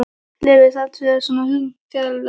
Leifur sat fyrir mér í svona hundrað metra fjarlægð.